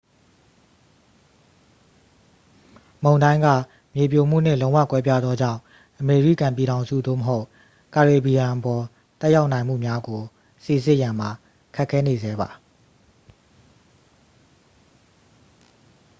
မုန်တိုင်းက မြေပြိုမှုနှင့် လုံးဝ ကွဲပြားသောကြောင့် အမေရိကန်ပြည်ထောင်စု သို့မဟုတ် ကာရေဘီယံအပေါ် သက်ရောက်နိုင်မှုများကို စိစစ်ရန်မှာ ခက်ခဲနေဆဲပါ